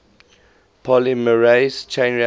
polymerase chain reaction